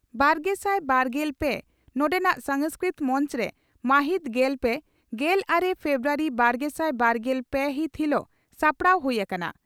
ᱵᱟᱨᱜᱮᱥᱟᱭ ᱵᱟᱨᱜᱮᱞ ᱯᱮ ᱱᱚᱰᱮᱱᱟᱜ ᱥᱟᱝᱥᱠᱨᱤᱛ ᱢᱚᱱᱪᱨᱮ ᱢᱟᱦᱤᱛ ᱜᱮᱞ ᱯᱮ ,ᱜᱮᱞᱟᱨᱮ ᱯᱷᱮᱵᱨᱩᱣᱟᱨᱤ ᱵᱟᱨᱜᱮᱥᱟᱭ ᱵᱟᱨᱜᱮᱞ ᱯᱮ ᱦᱤᱛ ᱦᱤᱞᱚᱜ ᱥᱟᱯᱲᱟᱣ ᱦᱩᱭ ᱟᱠᱟᱱᱟ ᱾